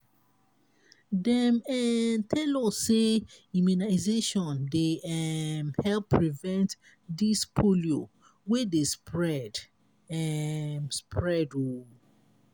dem um tell us sey immunization dey um help prevent dis polio wey dey spread. um spread. um